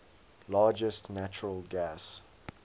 largest natural gas